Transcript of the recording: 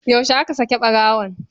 Yaushe ake saki ɓarawon?